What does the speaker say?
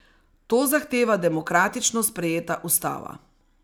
To zahteva demokratično sprejeta ustava.